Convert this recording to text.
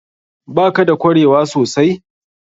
Ba ka da kwarewa sosai?